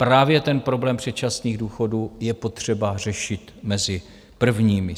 Právě ten problém předčasných důchodů je potřeba řešit mezi prvními.